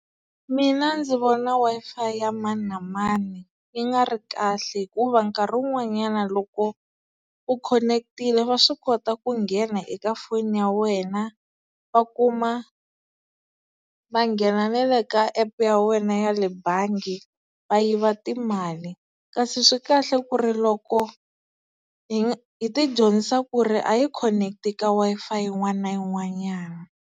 Mina ndzi vona Wi-Fi ya mani na mani yi nga ri kahle, hikuva nkarhi wun'wanyana loko u khoneketile va swi kota ku nghena eka foni ya wena va kuma, va nghena na le ka app ya wena ya le bangi va yiva timali, kasi swi kahle ku ri loko hi hi ti dyondzisa ku ri a hi khoneketi ka Wi-Fi yin'wana na yin'wanyana.